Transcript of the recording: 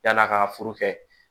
Yann'a ka furu kɛ